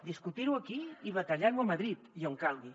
discutir ho aquí i batallar ho a madrid i on calgui